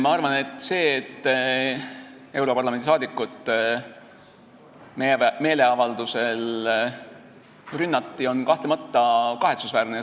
Ma arvan, et see, et europarlamendi liiget meeleavaldusel rünnati, on kahtlemata kahetsusväärne.